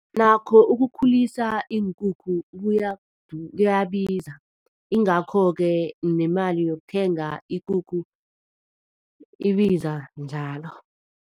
Nakho ukukhulisa iinkukhu kuyabiza ingakho-ke nemali yokuthenga ikukhu ibiza njalo.